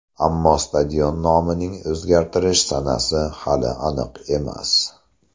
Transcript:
Ammo stadion nomining o‘zgartirilish sanasi hali aniq emas.